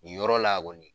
Nin yɔrɔ la kɔni